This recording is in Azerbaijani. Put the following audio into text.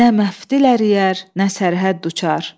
Nə məftil əriyər, nə sərhəd uçar.